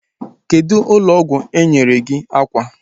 Kedụ ụlọ ọgwụ enyere gị akwa?